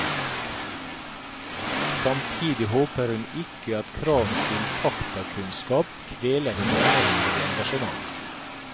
Samtidig håper hun ikke at kravet til faktakunnskap kveler det menneskelige engasjementet.